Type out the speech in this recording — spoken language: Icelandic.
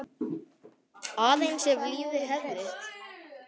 Aðeins ef lífið hefði?